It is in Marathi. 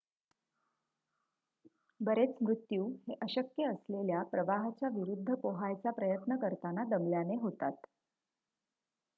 बरेच मृत्यू हे अशक्य असलेल्या प्रवाहाच्या विरुद्ध पोहायचा प्रयत्न करताना दमल्याने होतात